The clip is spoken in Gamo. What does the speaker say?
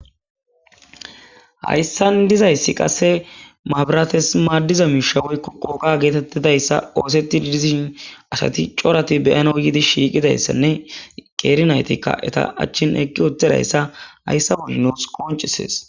Hayssan dizayssi qasse maabirates maaddiza miishawoykko qooka geetettidayssa ooseti didizishin asati corati beyana yiidi shiiqidayssanne qeerinaytikka eta achchin eqqi wottedayssa hayssa bolli nuss qoncisees.